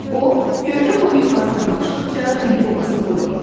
O gövdə boyu yuxarı dırmaşdıqca dili boğaza qoymurdu.